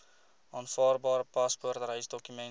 aanvaarbare paspoort reisdokument